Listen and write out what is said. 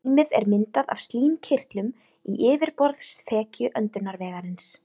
Slímið er myndað af slímkirtlum í yfirborðsþekju öndunarvegarins.